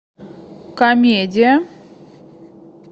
комедия